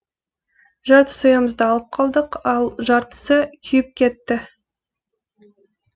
жарты соямызды алып қалдық ал жартысы күйіп кетті